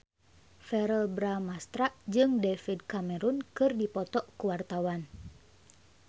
Verrell Bramastra jeung David Cameron keur dipoto ku wartawan